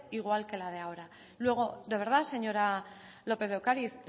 igual que la de ahora luego de verdad señora lópez de ocariz